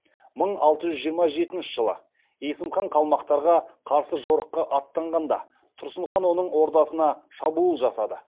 мың алты жүз жиыма жетінші жылы есім хан қалмақтарға қарсы жорыққа аттанғанда тұрсын хан оның ордасына шабуыл жасады